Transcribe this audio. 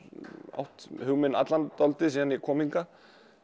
átt hug minn allan dálítið síðan ég kom hingað